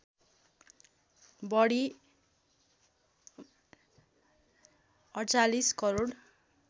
बढी ४८ करोड